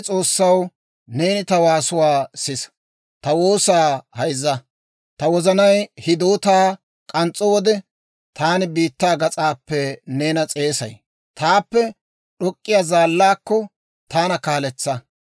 Ta wozanay hidootaa k'ans's'o wode, Taani biittaa gas'aappe neena s'eesay. Taappe d'ok'k'iyaa zaallaakko, taana kaaletsa.